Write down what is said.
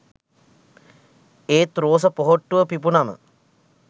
ඒත් රෝස පොහොට්ටුව පිපුනම